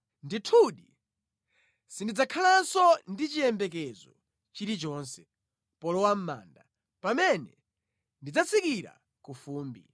Ndithu sindidzakhalanso ndi chiyembekezo chilichonse, polowa mʼmanda, pamene ndidzatsikira ku fumbi.”